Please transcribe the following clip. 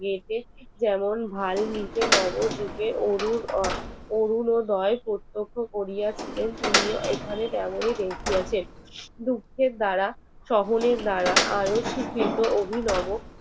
অরুনদয় প্রত্যক্ষ করিয়াছিলেন তিনিও এখানে আসিয়াছেন দুঃখের দ্বারা সহনের দ্বারা আয়োস্থিত অভিনীত